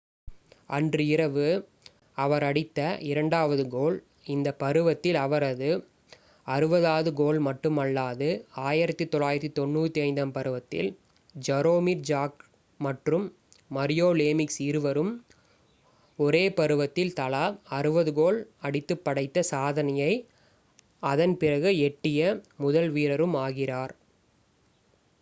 அன்று இரவு அவர் அடித்த இரண்டாவது கோல் இந்த பருவத்தில் அவரது 60 வது கோல் மட்டுமல்லாது 1995-96 ம் பருவத்தில் ஜரோமிர் ஜாக்ர் மற்றும் மரியோ லேமிக்ஸ் இருவரும் ஒரே பருவத்தில் தலா 60 கோல் அடித்துப் படைத்த சாதனையை அதன் பிறகு எட்டிய முதல் வீரரும் ஆகிறார்